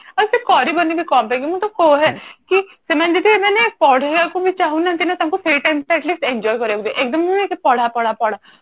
ଆଉ ସେ କରିବନି ବି କଣ ପାଇଁ ମୁଁ ତ କୁହେ ସେମାନେ ଯଦି ପଢିବାକୁ ବି ଚାହୁଁ ନାହାନ୍ତି ନା ତାଙ୍କୁ ସେଇ time ଟା Atleast enjoy କରିବାକୁ ଦିଅ ଏକଦମ ନୁହେଁ କି ପଢା ପଢା ପଢା